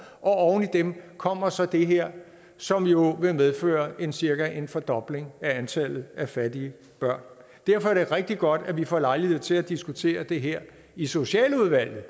og oven i dem kommer så det her som jo vil medføre cirka en fordobling af antallet af fattige børn derfor er det rigtig godt at vi får lejlighed til at diskutere det her i socialudvalget